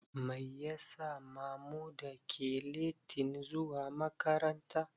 Mai ya sa Mamuda ke letin zuwa makaranta.